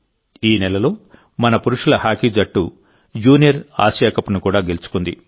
ఈ నెలలో మన పురుషుల హాకీ జట్టు జూనియర్ ఆసియా కప్ను కూడా గెలుచుకుంది